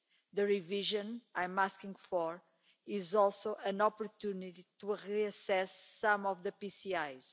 The revision I'm asking for is also an opportunity to reassess some of the PCIs.